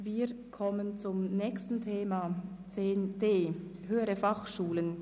Wir kommen zum Thema 10.d Höhere Fachschulen.